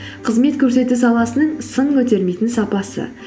қызмет көрсету саласының сын көтермейтін сапасы